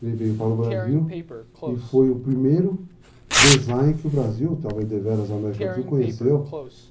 Ele veio para o Brasil e foi o primeiro design que o Brasil, talvez deveras a América do Sul, conheceu.